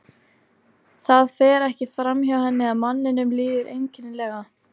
Það fer ekki fram hjá henni að manninum líður einkenni- lega.